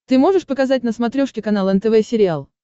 ты можешь показать на смотрешке канал нтв сериал